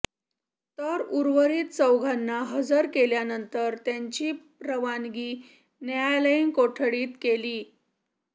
तर उर्वरीत चौघाला हजर केल्यानंतर त्यांची रवानगी न्यायालयीन कोठडीत केली